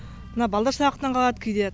мына балдар сабақтан қалады кейде